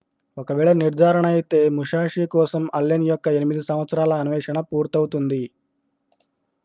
ఒకవేళ నిర్ధారణయితే musashi కోసం allen యొక్క 8 సంవత్సరాల అన్వేషణ పూర్తవుతుంది